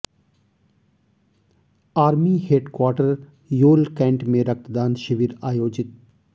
army headquarter Yol cantt में रक्तदान शिविर आयोजित